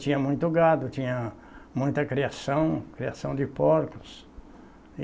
Tinha muito gado, tinha muita criação, criação de porcos.